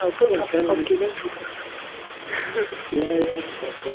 жалпы табысқа алып келген жылтырақтар десей иә иә жылтырақтар